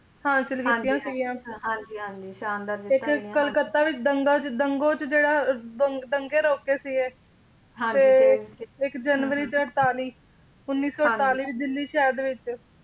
ਹਾਸਿਲ ਕੀਤੀਆਂ ਸੀਗੀਆਂ ਸ਼ਾਨਦਾਰ ਜਿੱਤਾਂ ਇੱਕ ਕਲਕੱਤਾ ਵਿੱਚ ਦੰਗਾ ਚ ਦੰਗੋਂ ਚ ਜਿਹੜਾ ਦੰਗੇ ਰੋਕੇ ਸੀਗੇ ਤੇ ਇੱਕ ਜਨਵਰੀ ਚ ਅੜਤਾਲੀ ਉੱਨੀ ਸੌ ਅੜਤਾਲੀ ਵਿੱਚ ਦਿੱਲੀ ਸ਼ਹਿਰ ਦੇ ਵਿੱਚ